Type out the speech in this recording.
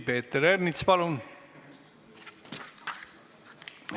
Peeter Ernits, palun!